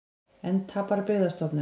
Enn tapar Byggðastofnun